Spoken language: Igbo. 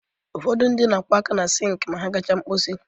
Ụfọdụ ndị na-akwọ aka ha na sink ma ha gachaa mkposi